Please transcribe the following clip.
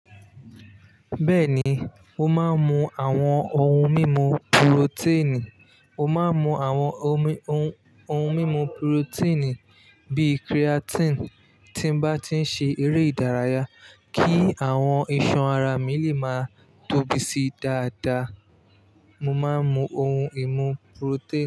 Bẹ́ẹ̀ni, mo máa ń mu àwọn ohun mímu purotẹ́ẹ̀nì. Mo máa ń mu àwọn omi oun oun mímu purotéènì bíi creatine tí n bá ti ń ṣe eré ìdárayá kí àwọn iṣan ara mi lè máa tóbi sí dáadáa. Mo máa ń mu ohun ìmu purotẹ́ẹ̀nì.